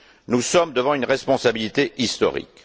Nous sommes devant une responsabilité historique.